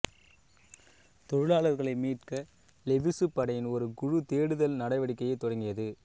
தொழிலாளர்களை மீட்க லெவிசு படையின் ஒரு குழு தேடுதல் நடவடிக்கையைத் தொடங்கியது